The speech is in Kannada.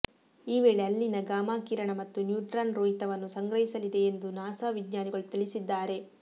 ಈ ವೇಳೆ ಅಲ್ಲಿನ ಗಾಮಾ ಕಿರಣ ಮತ್ತು ನ್ಯೂಟ್ರಾನ್ ರೋಹಿತವನ್ನು ಸಂಗ್ರಹಿಸಲಿದೆ ಎಂದು ನಾಸಾ ವಿಜ್ಞಾನಿಗಳು ತಿಳಿಸಿದ್ದಾರೆ